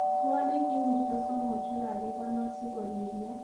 Twolinik ingircho somok chekakikonor sikoriryo